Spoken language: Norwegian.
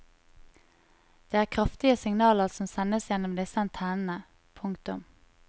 Det er kraftige signaler som sendes gjennom disse antennene. punktum